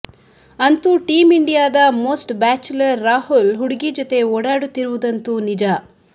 ಅಂತೂ ಟೀಂ ಇಂಡಿಯಾದ most bachelor Rahul ಹುಡುಗಿ ಜತೆ ಓಡಾಡುತ್ತಿರುವುದಂತೂ ನಿಜ